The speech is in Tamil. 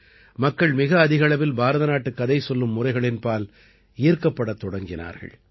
மக்கள் மிக அதிக அளவில் பாரத நாட்டுக் கதை சொல்லும் முறைகளின்பால் ஈர்க்கப்படத் தொடங்கினார்கள்